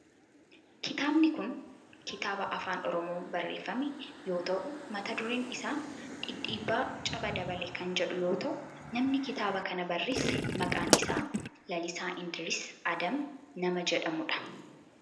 kitaabni kun kitaaba afaan oromoon barreeffame yoo ta'u mata dureen isaa Dhidhiibbaa Caba Dabale kan jedhu yoo ta'u namni kitaaba kana barreesse maqaan isaa Lalisaa Indiris Adam nama jedhamu dha.